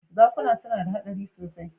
Zakuna suna da haɗari sosai.